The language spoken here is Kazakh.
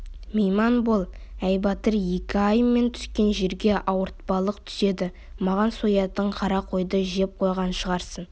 мейман бол әй батыр-еке-ай мен түскен жерге ауыртпалық түседі маған соятын қара қойды жеп қойған шығарсың